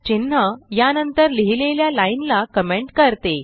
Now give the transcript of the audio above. चिन्ह या नंतर लिहिलेल्या लाइन ला कमेंट करते